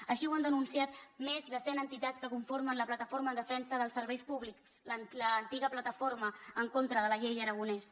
així ho han denunciat més de cent entitats que conformen la plataforma en defensa dels serveis públics l’antiga plataforma en contra de la llei aragonès